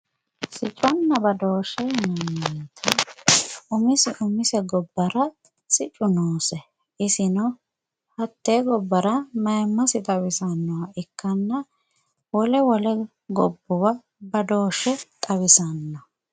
Sicconna badooshshe yineemmo woyte umise umise gobbara siccu noose isino hattee gobbara mayimmase xawisannoha ikkanna wole wole gobbuwa badooshshe xawisanno